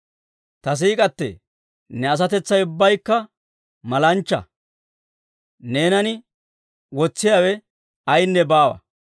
Ta siik'k'atee, ne asatetsay ubbaykka malanchcha; neenan wotsiyaawe ayaynne baawa.